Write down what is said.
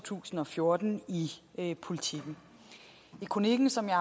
tusind og fjorten i politiken i kronikken som jeg